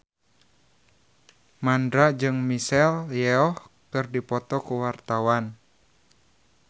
Mandra jeung Michelle Yeoh keur dipoto ku wartawan